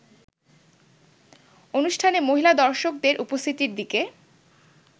অনুষ্ঠানে মহিলা দর্শকদের উপস্থিতির দিকে